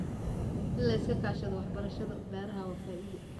In la iska kaashado waxbarashada beeraha waa faa'iido.